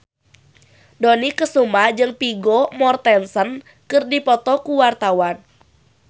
Dony Kesuma jeung Vigo Mortensen keur dipoto ku wartawan